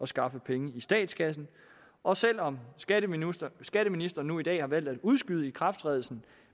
skaffe penge i statskassen og selv om skatteministeren skatteministeren nu i dag har valgt at udskyde ikrafttrædelsen